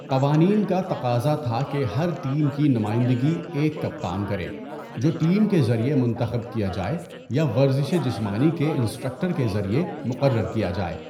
قوانین کا تقاضا تھا کہ ہر ٹیم کی نمائندگی ایک کپتان کرے، جو ٹیم کے ذریعے منتخب کیا جائے یا ورزش جسمانی کے انسٹرکٹر کے ذریعے مقرر کیا جائے۔